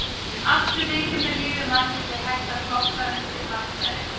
Allt sem viðkemur lífi mannsins er hægt að flokka undir mannfræði.